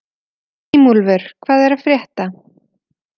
Grímúlfur, hvað er að frétta?